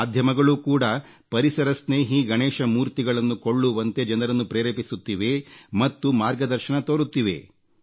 ಮಾಧ್ಯಮಗಳೂ ಕೂಡ ಪರಿಸರಸ್ನೇಹಿ ಗಣೇಶ ಮೂರ್ತಿಗಳನ್ನು ಕೊಳ್ಳುವಂತೆ ಜನರನ್ನು ಪ್ರೇರೇಪಿಸುತ್ತಿವೆ ಮತ್ತು ಮಾರ್ಗದರ್ಶನ ತೋರುತ್ತ್ತಿವೆ